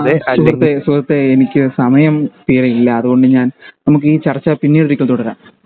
ആ സുഹൃത്തേ സുഹൃത്തേ എനിക്ക് സമയം ഇല്ല അതുകൊണ്ട് ഞാൻ നമുക്ക് ഈ ചർച്ച പിന്നീടൊരിക്കൽ തുടരാം